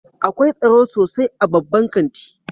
Akwai tsaro sosai a babban kanti